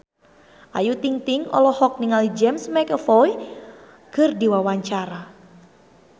Ayu Ting-ting olohok ningali James McAvoy keur diwawancara